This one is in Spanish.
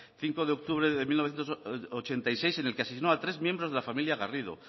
cinco de octubre de mil novecientos ochenta y siete en el que asesinó a tres miembros de la familia garrido